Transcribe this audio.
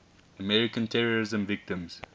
american terrorism victims